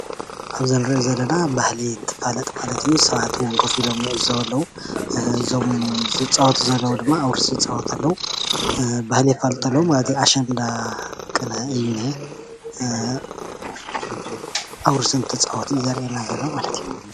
ኣብዚ እንሪኦ ዘለና ባህሊ እንትፋለጥ ማለት እዩ። ሰባት እዉን ኮፍ ኢሎም ይዕዘቡ ኣለዉ፡፡ እዞም ዝፃወቱ ዘለዉ ድማ ኣውርስ ይፃወቱ ኣለዉ፡፡ ባህሊ የፋልጡ ኣለዉ ማለት እዩ ኣሸንዳ ቅነ እዩ ዝነሄ ኣውርስ እንትፃወቱ እዩ ዘርእየና ማለት እዩ፡፡